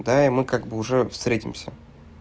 да и мы как бы уже встретимся